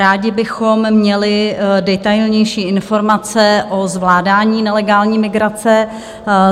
Rádi bychom měli detailnější informace o zvládání nelegální migrace.